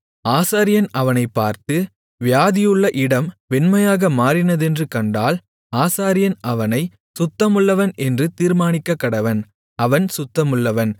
ஆசாரியன் அவனைப் பார்த்து வியாதியுள்ள இடம் வெண்மையாக மாறினதென்று கண்டால் ஆசாரியன் அவனைச் சுத்தமுள்ளவன் என்று தீர்மானிக்கக்கடவன் அவன் சுத்தமுள்ளவன்